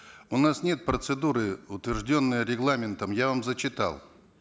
у нас нет процедуры утвержденной регламентом я вам зачитал